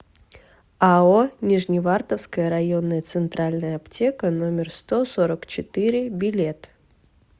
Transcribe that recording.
ао нижневартовская районная центральная аптека номер сто сорок четыре билет